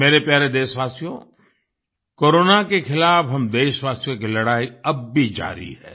मेरे प्यारे देशवासियो कोरोना के खिलाफ हम देशवासियों की लड़ाई अब भी जारी है